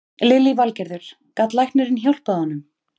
Lillý Valgerður: Gat læknirinn hjálpað honum?